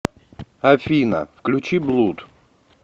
афина включи блуд